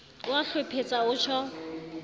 o a hlwephetsa o tjho